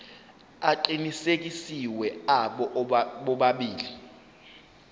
aqinisekisiwe abo bobabili